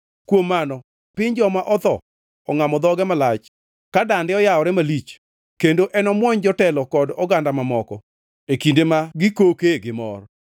Kuom mano piny joma otho ongʼamo dhoge malach ka dande oyawore malich; kendo enomuony jotelo kod oganda mamoko e kinde ma gikokee gi mor.